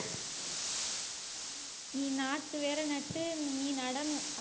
நீ நாற்று வேற நட்டு நீ நடணும் அதுக்கு